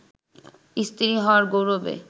স্ত্রী হওয়ার গৌরবে